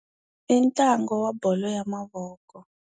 I ntlangu wa bolo ya mavoko.